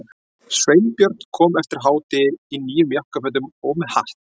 Sveinbjörn kom eftir hádegi í nýjum jakkafötum og með hatt.